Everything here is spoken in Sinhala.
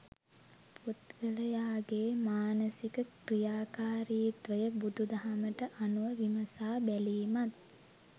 පුද්ගලයාගේ මානසික ක්‍රියාකාරිත්වය බුදුදහමට අනුව විමසා බැලීමත්